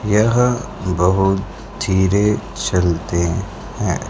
यह बहुत धीरे चलते हैं।